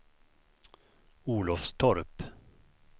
Olofstorp